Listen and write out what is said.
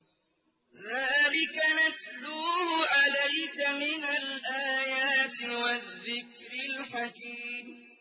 ذَٰلِكَ نَتْلُوهُ عَلَيْكَ مِنَ الْآيَاتِ وَالذِّكْرِ الْحَكِيمِ